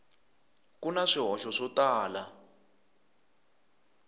ku na swihoxo swo tala